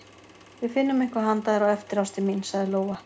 Við finnum eitthvað handa þér á eftir, ástin mín, sagði Lóa.